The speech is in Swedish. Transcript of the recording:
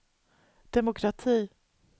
demokrati